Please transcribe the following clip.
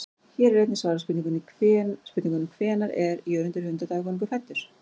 Hér er einnig svarað spurningunum: Hvenær er Jörundur hundadagakonungur fæddur?